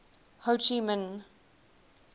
ho chi minh